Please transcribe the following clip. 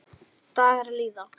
Dagar líða.